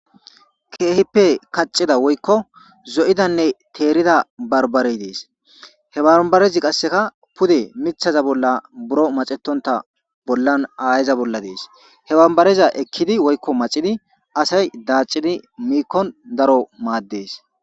keehippe kaccida woykko zo7idanne teerida barbare dees he babarezi qasseka pude mithaza bolla buro macetonta bollan aayeza bolla dees he bambareza ekkidi woykko macidi asay daacidi miikkon daro maaddees